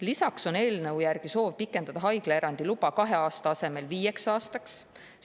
Lisaks on eelnõu järgi soov pikendada haiglaerandi loa kahe aasta asemel viie aastani.